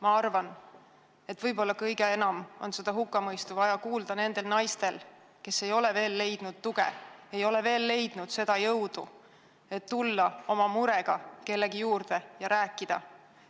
Ma arvan, et võib-olla kõige enam on seda hukkamõistu vaja kuulda nendel naistel, kes ei ole veel leidnud tuge, kes ei ole veel leidnud seda jõudu, et tulla oma murega kellegi juurde ja rääkida.